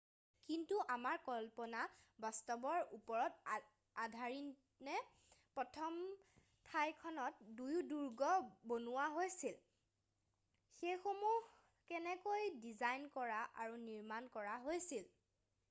কিন্তু আমাৰ কল্পনা বাস্তৱৰ ওপৰত আধাৰিতনে প্ৰথম ঠাইখনত কিয় দুৰ্গ বনোৱা হৈছিল সেইসমূহ কেনেকৈ ডিজাইন কৰা আৰু নিৰ্মাণ কৰা হৈছিল